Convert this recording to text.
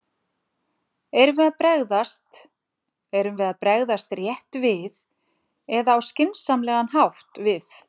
Erum við að bregðast, erum við að bregðast rétt við eða á skynsamlegan hátt við?